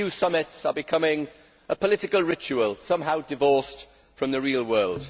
EU summits are becoming a political ritual, somehow divorced from the real world.